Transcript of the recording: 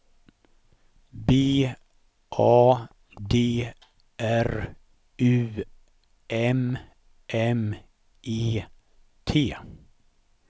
B A D R U M M E T